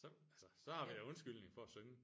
Så altså så har vi da undskyldning for at synge